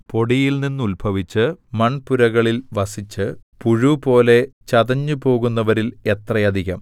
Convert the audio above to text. പൊടിയിൽനിന്നുത്ഭവിച്ചു മൺപുരകളിൽ വസിച്ച് പുഴുപോലെ ചതഞ്ഞുപോകുന്നവരിൽ എത്ര അധികം